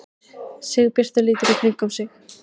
Sigurbjartur lítur í kringum sig.